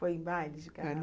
Foi em baile de carnaval?